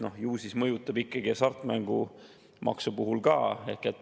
Ju siis mõjutab see hasartmängumaksu puhul ka.